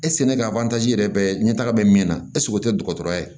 ka yɛrɛ bɛ ɲɛ taga be min na ɛseke o tɛ dɔgɔtɔrɔya ye